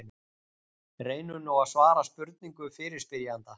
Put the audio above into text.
Reynum nú að svara spurningu fyrirspyrjanda.